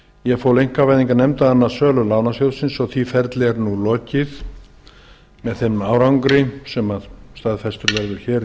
ég fól einkavæðingarnefnd að annast sölu lánasjóðsins því ferli er nú lokið með þeim árangri sem staðfestur verður hér í